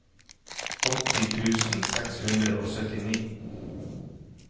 åtti tusen seks hundre og syttini